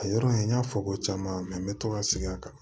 A yɔrɔ in n y'a fɔ ko caman bɛ to ka sigi a kan